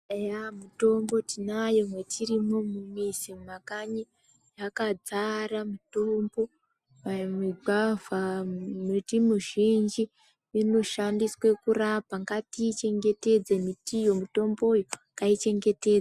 Eya mutombo tinayo mwetiri mumuzi mumakanyi mwakadzara mutombo dai mugwavha miti mizhinji ino shandiswa kurapa ngati chengetedze mitiyo mutombo ngai chengetedzwe.